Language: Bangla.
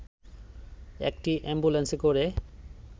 একটি অ্যাম্বুলেন্সে করে